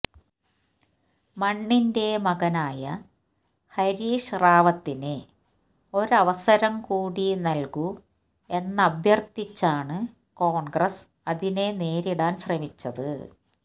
മണ്ണിന്റെ മകനായ ഹരീഷ് റാവത്തിന് ഒരവസരം കൂടി നൽകൂ എന്നഭ്യർഥിച്ചാണ് കോൺഗ്രസ് അതിനെ നേരിടാൻ ശ്രമിച്ചത്